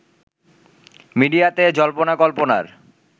মিডিয়াতে জল্পনা কল্পনার